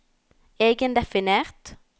egendefinert